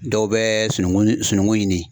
Dɔw bɛ sunungun sunugun ɲini